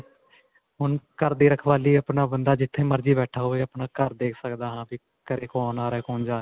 ਹੁਣ ਘਰ ਦੀ ਰਖਵਾਲੀ ਆਪਣਾ ਬੰਦਾ ਜਿੱਥੇ ਮਰਜੀ ਬੈਠਾ ਹੋਵੇ ਆਪਣਾ ਘਰ ਦੇਖ ਸਕਦਾ ਹਾਂ ਵੀ ਘਰੇ ਕੌਣ ਆ ਰਿਹਾ ਕੌਣ ਜਾਂ ਰਿਹਾ.